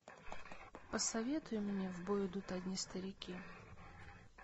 посоветуй мне в бой идут одни старики